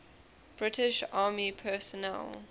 british army personnel